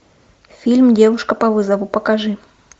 фильм девушка по вызову покажи